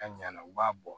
A ɲina na u b'a bɔ